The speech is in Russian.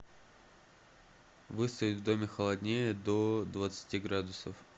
выставь в доме холоднее до двадцати градусов